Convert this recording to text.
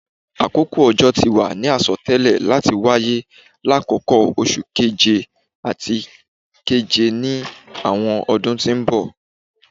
Akoko ojo ti wa ni asọtẹlẹ lati waye lakoko Oṣu Keje ati Keje ni awọn ọdun ti n bọ